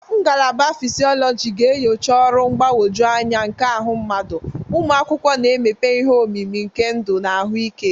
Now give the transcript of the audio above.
Ngalaba fishiologi ga-enyocha ọrụ mgbagwoju anya nke ahụ mmadụ, ụmụ akwụkwọ na-emepe ihe omimi nke ndụ na ahụike.